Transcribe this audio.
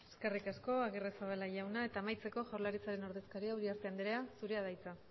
eskerrik asko agirrezabala jauna amaitzeko jaurlaritzaren ordezkaria uriarte anderea zure da hitza